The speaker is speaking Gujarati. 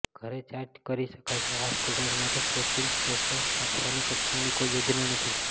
ઘરે ચાર્જ કરી શકાશે આ સ્કૂટર માટે સ્વેપીંગ સ્ટેશન સ્થાપવાની કંપનીની કોઈ યોજના નથી